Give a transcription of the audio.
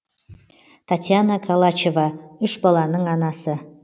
таятьяна колачева үш баланың анасы